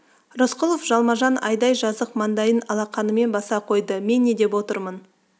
рысқұлов жалма-жан айдай жазық маңдайын алақанымен баса қойды мен не деп отырмын